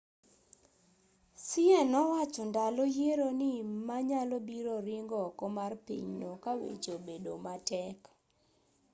hsieh nowacho ndalo yiero ni ma nyalobiro ringo oko mar pinyno kaweche obedo matek